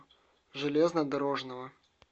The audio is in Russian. железнодорожного